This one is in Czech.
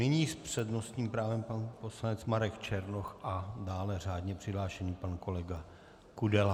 Nyní s přednostním právem pan poslanec Marek Černoch a dále řádně přihlášený pan kolega Kudela.